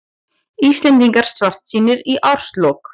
Íslendingar svartsýnir í árslok